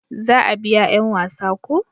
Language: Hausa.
za a biya yan wasa ko?